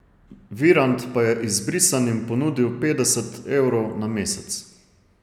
Virant pa je izbrisanim ponudil petdeset evrov na mesec.